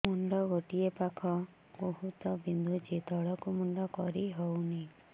ମୁଣ୍ଡ ଗୋଟିଏ ପାଖ ବହୁତୁ ବିନ୍ଧୁଛି ତଳକୁ ମୁଣ୍ଡ କରି ହଉନି